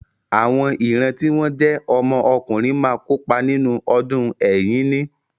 Àwọn ìran tí wọ́n jẹ́ ọmọ ọkùnrin máa kópa nínú ọdún Ẹ̀yíní.